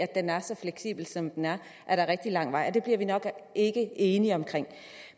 den er så fleksibel som den er er der rigtig lang vej og det bliver vi nok ikke enige om